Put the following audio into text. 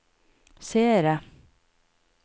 seere